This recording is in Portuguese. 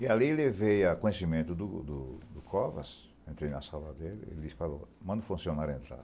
E ali eu levei a conhecimento do do do Covas, entrei na sala dele, ele falou, manda o funcionário entrar.